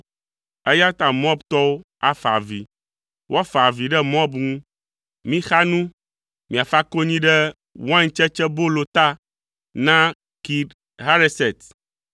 eya ta Moabtɔwo afa avi, woafa avi ɖe Moab ŋu. Mixa nu, miafa konyi ɖe waintsetsebolo ta na Kir Hareset,